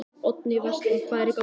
Oddný Vestmann: Hvað er í gangi?